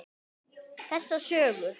Þessa sögu.